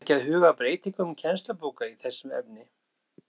Þarf ekki að huga að breytingum kennslubóka í þessu efni?